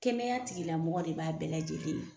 Kɛnɛya tigilamɔgɔ de b'a bɛɛ lajɛlen ye.